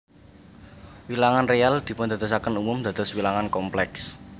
Wilangan réal dipundadosaken umum dados wilangan komplèks